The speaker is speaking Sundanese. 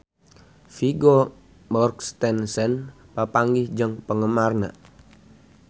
Vigo Mortensen papanggih jeung penggemarna